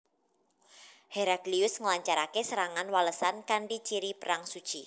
Heraklius nglancaraké serangan walesan kanthi ciri perang suci